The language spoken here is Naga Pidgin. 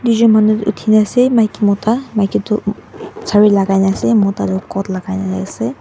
toi jun manu otina asae maiki mota maiki toh saree lakai na asae mota toh coat lakai na asae.